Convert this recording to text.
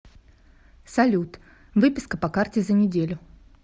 салют выписка по карте за неделю